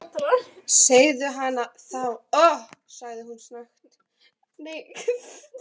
Segðu hana þá- sagði hún snöggt.